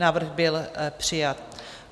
Návrh byl přijat.